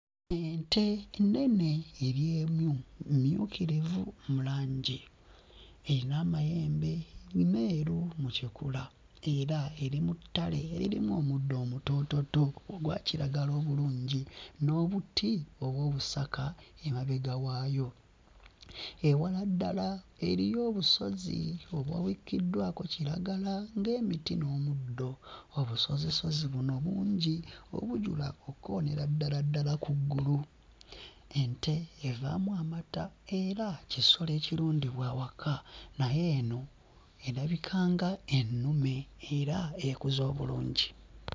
Ente ennene eri emu, mmyukirivu mu langi. Eyina amayembe meeru mu kikula era eri mu ttale eririmu omuddo omutoototo ogwa kiragala obulungi n'obuti oba obusaka emabega waayo. Ewala ddala eriyo obusozi obwawikkiddwako kiragala ng'emiti n'omuddo. Obusozisozi buno bungi obujula okkoonera ddala ddala ku ggulu. Ente evaamu amata era kisolo ekirundibwa awaka naye eno erabika nga ennume era ekuze obulungi.